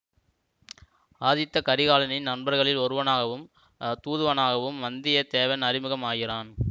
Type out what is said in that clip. ஆதித்த கரிகாலனின் நண்பர்களில் ஒருவனாகவும் தூதுவனாகவும் வந்திய தேவன் அறிமுகம் ஆகிறான்